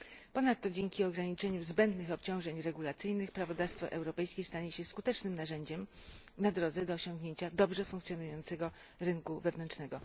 Ponadto dzięki ograniczeniu zbędnych obciążeń regulacyjnych, prawodawstwo europejskie stanie się skutecznym narzędziem na drodze do osiągnięcia dobrze funkcjonującego rynku wewnętrznego.